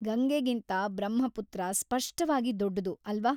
ಗಂಗೆಗಿಂತಾ ಬ್ರಹ್ಮಪುತ್ರ ಸ್ಪಷ್ಟವಾಗಿ ದೊಡ್ಡದು ಅಲ್ವ.